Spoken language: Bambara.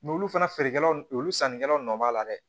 olu fana feerekɛlaw olu sannikɛlaw nɔ b'a la dɛ